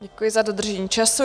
Děkuji za dodržení času.